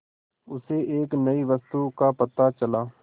उसे एक नई वस्तु का पता चला